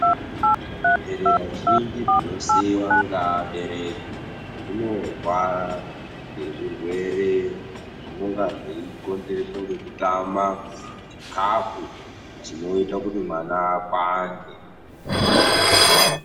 Nherera zhinji dzinosiiwa ngeabereki dzinorwara ngezvirwere zvinonga zveikonzereswa ngekutama chikafu chinoita kuti mwana akwange